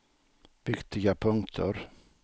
viktiga punkter